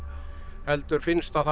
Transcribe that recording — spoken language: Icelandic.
heldur finnst að það